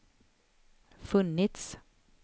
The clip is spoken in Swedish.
funnits